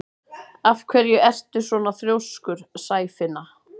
Af hverju ertu svona þrjóskur, Sæfinna?